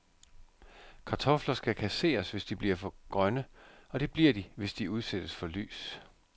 Kartofler skal kasseres, hvis de bliver grønne, og det bliver de, hvis de udsættes for lys.